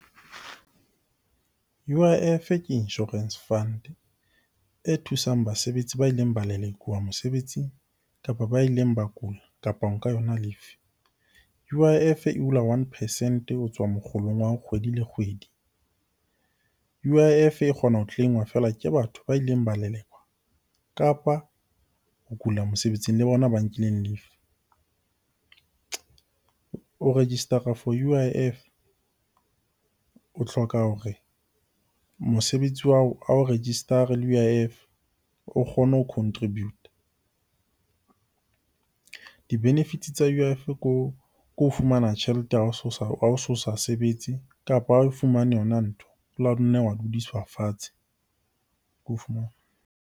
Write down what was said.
U_I_F ke insurance fund e thusang basebetsi ba ileng ba lelekwa mosebetsing kapa ba ileng ba kula, kapa ho nka yona leave. U_I_F e hula one percent ho tswa mokgolong wa hao kgwedi le kgwedi. U_I_F e kgona ho claim-wa feela ke batho ba ileng ba lelekwa, kapa ho kula mosebetsing le bona ba nkileng leave. Ho register-a for U_I_F o hloka hore mosebetsi wa hao ao register-e le U_I_F o kgone ho contribute-a. Di benefits tsa U_I_F ko fumana tjhelete ha o so sa sebetse, kapa o fumane yona ntho dudiswa fatshe.